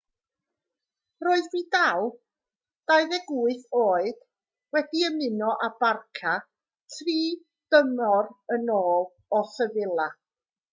roedd vidal 28 oed wedi ymuno â barça dri thymor yn ôl o sevilla